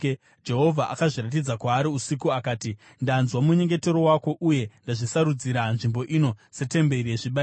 Jehovha akazviratidza kwaari usiku akati: “Ndanzwa munyengetero wako uye ndazvisarudzira nzvimbo ino setemberi yezvibayiro.